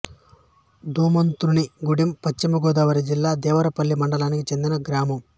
ధూమంతునిగూడెం పశ్చిమ గోదావరి జిల్లా దేవరపల్లి మండలానికి చెందిన గ్రామం